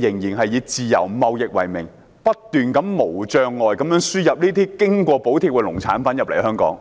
方仍然以自由貿易為名，不斷無障礙地將這些經過補貼的農產品輸入香港。